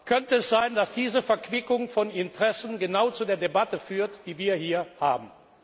Könnte es sein, dass diese Verquickung von Interessen genau zu der Debatte führt, die wir hier haben?